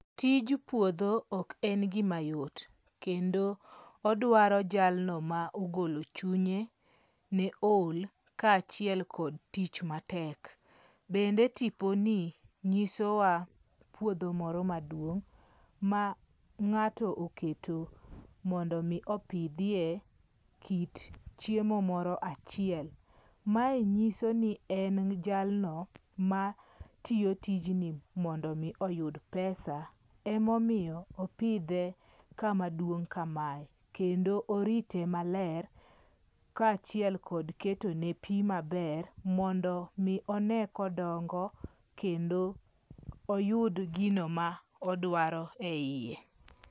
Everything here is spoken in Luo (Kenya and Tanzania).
Tij puotho ok en gima yot, kendo odwaro jalno ma ogolochunye ne ohol kachiel kod tich matek , bende tiponi nyisowa puotho moro maduong ma nga'to oketo mondo mi opithie kit chiemo moro achiel, mae nyiso ni en jalno matiyo tijni mondo mi oyud pesa emamiyo opithe kamaduong' kamae kendo orito maler kachiel kod ketone pi maber mondo mi one kodongo kendo oyud gino ma odwaro eyie.